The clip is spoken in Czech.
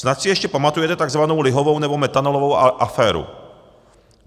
Snad si ještě pamatujete tzv. lihovou nebo metanolovou aféru.